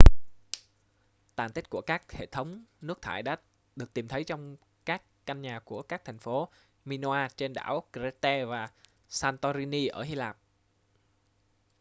tàn tích của các hệ thống nước thải đã được tìm thấy trong các căn nhà của các thành phố minoa trên đảo crete và santorini ở hy lạp